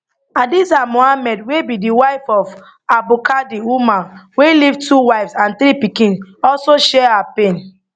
hadiza muhammad wey be di wife of abdulkadir umar wey leave two wives and three pikin also share her pain